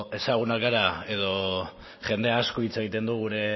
ezagunak gara edo jende asko hitz egiten du gure